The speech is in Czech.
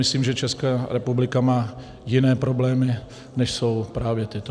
Myslím, že Česká republika má jiné problémy, než jsou právě tyto.